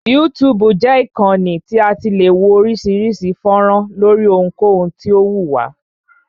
YouTube jẹ́ ìkànnì tí a ti le wo oríṣiríṣi fọ́nrán lóri ohunkohun tí o wù wá.